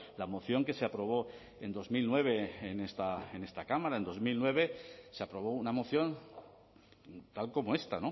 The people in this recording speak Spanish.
la moción que se aprobó en dos mil nueve en esta cámara en dos mil nueve se aprobó una moción tal como esta